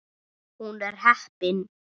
Hún er heppin.